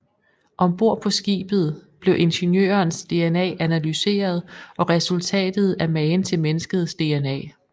Ombord på skibet bliver Ingeniørens DNA analyseret og resultatet er magen til menneskets DNA